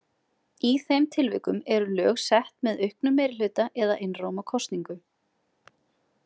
Í þeim tilvikum eru lög sett með auknum meirihluta eða einróma kosningu.